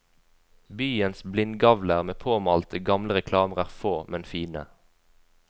Byens blindgavler med påmalte gamle reklamer er få, men fine.